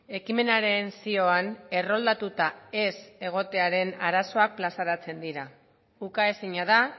ekimenaren zioan erroldatuta ez egotearen arazoak plazaratzen dira ukaezina da